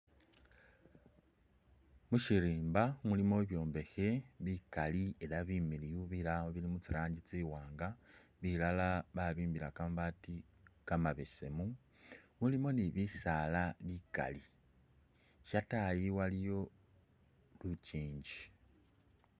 Mushirimba mulimo bibyombekhe bikaali elah bimiliyu bilala bili mutsi rangi tsi'waanga, bilala babimbila kamabaati kamabeseemu mulimo ni bisaala bikaali, shataayi waliyo tsingingi.